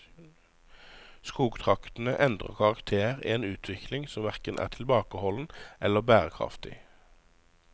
Skogtraktene endrer karakter i en utvikling som hverken er tilbakeholden eller bærekraftig.